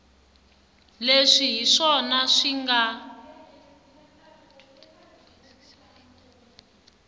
leswi hi swona swi nga